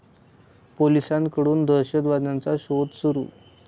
पोलिसांकडून दहशतवाद्यांचा शोध सुरु